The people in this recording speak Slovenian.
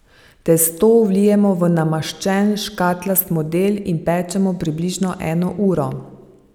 Testo vlijemo v namaščen škatlast model in pečemo približno eno uro.